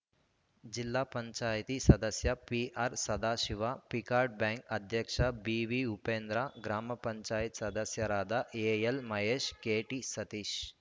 ಜಿಲ್ಲಾ ಪಂಚಾಯತಿ ಸದಸ್ಯ ಪಿಆರ್‌ ಸದಾಶಿವ ಪಿಕಾರ್ಡ್‌ ಬ್ಯಾಂಕ್‌ ಅಧ್ಯಕ್ಷ ಬಿವಿ ಉಪೇಂದ್ರ ಗ್ರಾಮ ಪಂಚಾಯತ್ ಸದಸ್ಯರಾದ ಎಎಲ್‌ ಮಹೇಶ್‌ ಕೆಟಿ ಸತೀಶ್‌